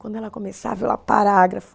Quando ela começava, parágrafo.